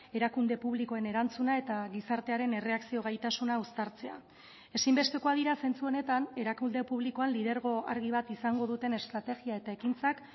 erakunde publikoen erantzuna eta gizartearen erreakzio gaitasuna uztartzea ezinbestekoak dira zentzu honetan erakunde publikoan lidergo argi bat izango duten estrategia eta ekintzak